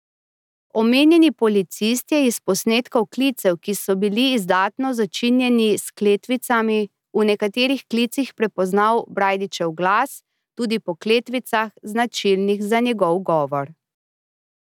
Omenjeni policist je iz posnetkov klicev, ki so bili izdatno začinjeni s kletvicami, v nekaterih klicih prepoznal Brajdičev glas, tudi po kletvicah, značilnih za njegov govor.